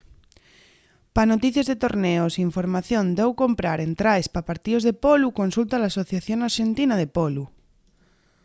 pa noticies de torneos y información d’au comprar entraes pa partíos de polu consulta l’asociación arxentina de polu